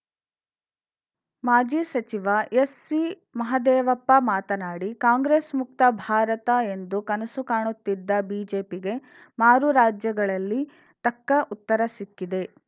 ಮಾಜಿ ಸಚಿವ ಎಸ್ಸಿಮಹದೇವಪ್ಪ ಮಾತನಾಡಿ ಕಾಂಗ್ರೆಸ್‌ ಮುಕ್ತ ಭಾರತ ಎಂದು ಕನಸು ಕಾಣುತ್ತಿದ್ದ ಬಿಜೆಪಿಗೆ ಮಾರು ರಾಜ್ಯಗಳಲ್ಲಿ ತಕ್ಕ ಉತ್ತರ ಸಿಕ್ಕಿದೆ